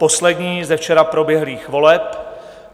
Poslední ze včera proběhlých voleb: